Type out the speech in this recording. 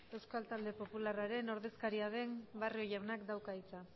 eusko talde popularraren ordezkaria den barrio jaunak dauka hitza